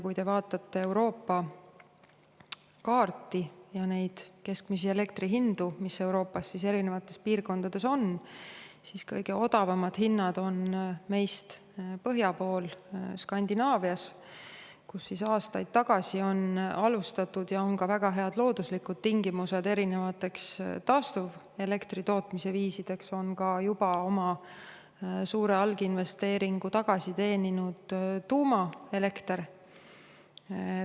Kui te vaatate Euroopa kaarti ja neid keskmisi elektri hindu, mis Euroopa eri piirkondades on, siis näete, et kõige odavamad hinnad on meist põhja pool, Skandinaavias, kus aastaid tagasi on alustatud erinevate taastuvenergia toomise viiside kasutamist ja on selleks ka väga head looduslikud tingimused, samuti on seal praeguseks juba oma suure alginvesteeringu tagasi teeninud tuumaelekter.